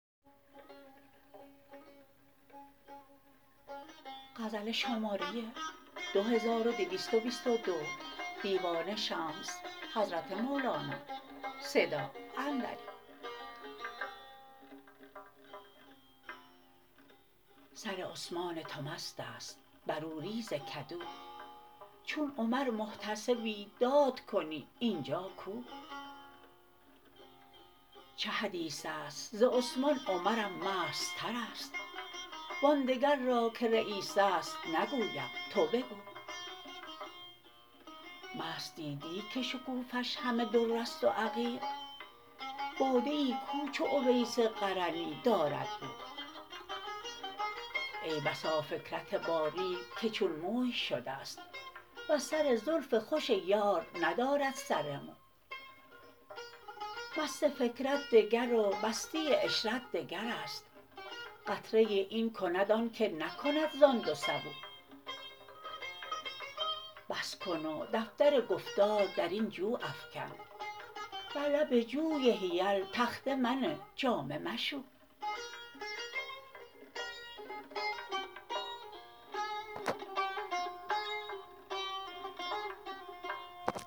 سر عثمان تو مست است بر او ریز کدو چون عمر محتسبی دادکنی این جا کو چه حدیث است ز عثمان عمرم مستتر است و آن دگر را که رییس است نگویم تو بگو مست دیدی که شکوفه ش همه در است و عقیق باده ای کو چو اویس قرنی دارد بو ای بسا فکرت باریک که چون موی شده ست وز سر زلف خوش یار ندارد سر مو مست فکرت دگر و مستی عشرت دگر است قطره ای این کند آنک نکند زان دو سبو بس کن و دفتر گفتار در این جو افکن بر لب جوی حیل تخته منه جامه مشو